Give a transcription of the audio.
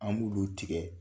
An b'olu tigɛ